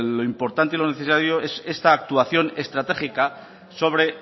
lo importante y lo necesario es esta actuación estratégica sobre